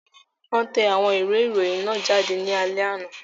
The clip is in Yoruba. Wọ́n tẹ àwọn ìwé ìròyìn náà jáde ní alẹ́ àná.